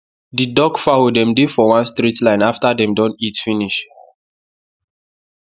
the duck fowl dem dey for one straight line after dem don eat finish